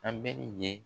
A bɛ ye